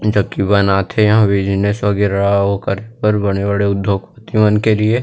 जो की बनाथे एहा बिजनेस वगेरा अऊ ओकर बर बड़े-बड़े उद्योगपति मन के लिए--